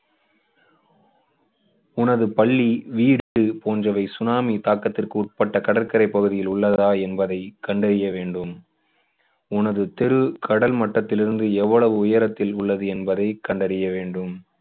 உனது பள்ளி வீடு போன்றவை சுனாமி தாக்கத்திற்குட்பட்ட கடற்கரைப் பகுதியில் உள்ளதா என்பதை கண்டறிய வேண்டும். உனது தெரு கடல் மட்டத்திலிருந்து எவ்வளவு உயரத்தில் உள்ளது என்பதை கண்டறிய வேண்டும்.